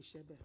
iṣe bẹ́ẹ̀.